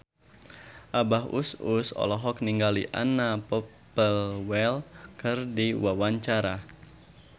Abah Us Us olohok ningali Anna Popplewell keur diwawancara